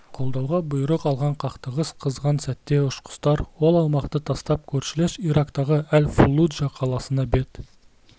қолдауға бұйрық алған қақтығыс қызған сәтте ұшқыштар ол аумақты тастап көршілес ирактағы әл-фаллуджа қаласына бет